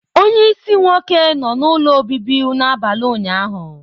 Onye isi nwoke nọ n'ụlọ obibi n'abalị ụnyaahụ.